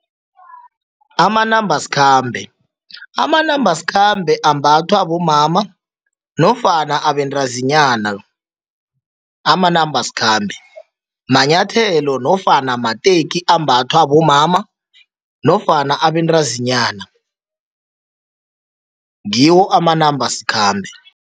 Amanambasikhambe, amanambasikhambe ambathwa bomama nofana abentazinyana. Amanambasikhambe manyathelo nofana mateki ambathwa bomama nofana abentazinyana, ngiwo amanambasikhambe.